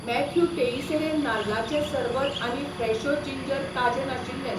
Matthew Teixeira नाल्लाचें सरबत आनी फ्रेशो जिंजर ताजें नाशिल्ले.